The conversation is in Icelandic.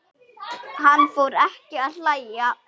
Hann fór ekki að hlæja.